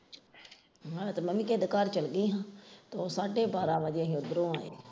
ਤੁਹਾਡੇ ਘਰ ਚੱਲ ਗਏ ਸੀ ਫਿਰ ਸਾਢੇ ਬਾਰਾਂਹ ਵਜੇ ਅਸੀਂ ਉੱਧਰੋਂ ਆਏ।